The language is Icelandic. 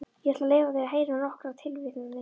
Ég ætla að leyfa þér að heyra nokkrar tilvitnanir.